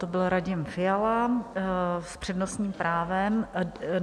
To byl Radim Fiala s přednostním právem.